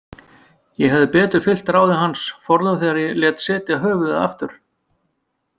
Ég hefði betur fylgt ráði hans forðum þegar ég lét setja höfuðið aftur.